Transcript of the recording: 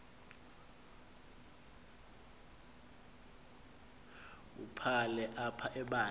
wubhale apha ibandla